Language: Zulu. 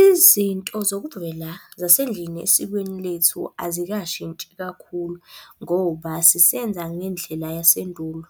Izinto zokuvela zasendlini esikweni lethu azikashintshi kakhulu, ngoba sisenza ngendlela yasendulo.